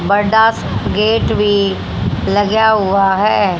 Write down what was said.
बड़ा सा गेट भी लग्या हुआ है।